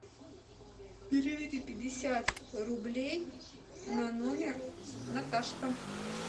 переведи пятьдесят рублей на номер наташка